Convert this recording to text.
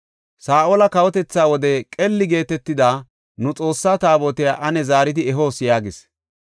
Saa7ola kawotethaa wode qeli geetetida nu Xoossaa Taabotiya ane zaaridi ehoos” yaagis.